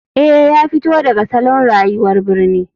Eh ya fito daga salon rayuwar birni.